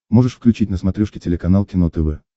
можешь включить на смотрешке телеканал кино тв